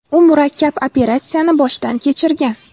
U murakkab operatsiyani boshdan kechirgan.